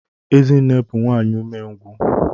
Ezinne bu nwanyi umengwu.